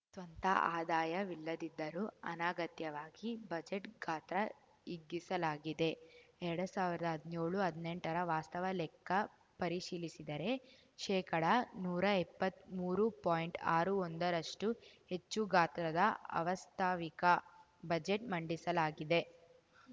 ಸ್ವಂತ ಆದಾಯವಿಲ್ಲದಿದ್ದರೂ ಅನಗತ್ಯವಾಗಿ ಬಜೆಟ್‌ ಗಾತ್ರ ಹಿಗ್ಗಿಸಲಾಗಿದೆ ಎರಡ್ ಸಾವಿರ್ದಾ ಹದ್ನ್ಯೋಳುಹದ್ನೆಂಟರ ವಾಸ್ತವ ಲೆಕ್ಕ ಪರಿಶೀಲಿಸಿದರೆ ಶೇಕಡ ನೂರಾ ಎಪ್ಪತ್ಮೂರು ಪಾಯಿಂಟ್ಆರು ಒಂದರಷ್ಟುಹೆಚ್ಚು ಗಾತ್ರದ ಅವಾಸ್ತವಿಕ ಬಜೆಟ್‌ ಮಂಡಿಸಲಾಗಿದೆ